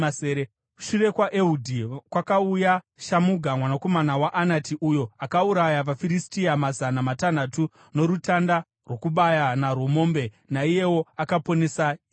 Shure kwaEhudhi kwakauya Shamuga mwanakomana waAnati, uyo akauraya vaFiristia mazana matanhatu norutanda rwokubaya narwo mombe. Naiyewo akaponesa Israeri.